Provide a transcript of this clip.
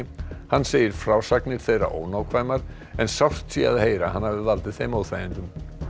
hann segir frásagnir þeirra ónákvæmar en sárt sé að heyra að hann hafi valdið þeim óþægindum